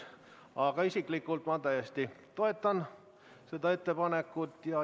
Aga isiklikult ma täiesti toetan seda ettepanekut.